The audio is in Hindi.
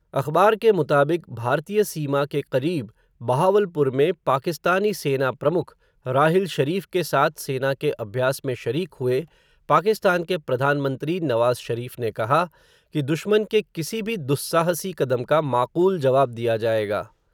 अख़बार के मुताबिक, भारतीय सीमा के क़रीब, बहावलपुर में पाकिस्तानी सेना प्रमुख, राहिल शरीफ़ के साथ सेना के अभ्यास में शरीक हुए, पाकिस्तान के प्रधानमंत्री, नवाज़ शरीफ ने कहा, कि दुश्मन के किसी भी दुस्साहसी कदम का माकूल जवाब दिया जाएगा.